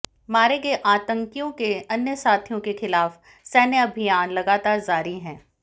मारे गए आतंकियों के अन्य साथियों के खिलाफ सैन्य अभियान लगातार जारी है